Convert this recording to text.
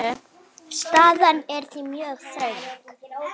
Staðan er því mjög þröng.